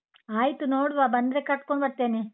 ಆಯ್ತು ನೋಡುವ, ಬಂದ್ರೆ ಕರ್ಕೊಂಡು ಬರ್ತೇನೆ.